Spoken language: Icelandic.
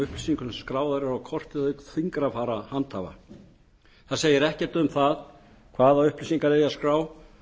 upplýsingum sem skráðar eru á kortið auk fingrafara handhafa ekkert segir um hvaða upplýsingar eigi að skrá